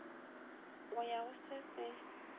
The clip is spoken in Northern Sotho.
go ya go se se